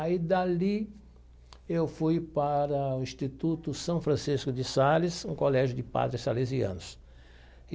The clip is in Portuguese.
Aí, dali, eu fui para o Instituto São Francisco de Sales, um colégio de padres salesianos.